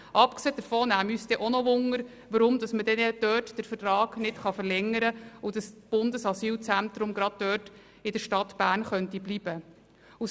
Abgesehen davon würde uns auch interessieren, weshalb dieser Vertrag nicht verlängert werden kann und das Bundesasylzentrum nicht dort in der Stadt Bern bleiben könnte.